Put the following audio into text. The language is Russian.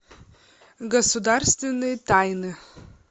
государственные тайны